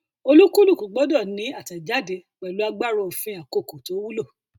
olúkúlùkù gbọdọ ni àtẹjáde pẹlú agbára òfin àkókò tó wulo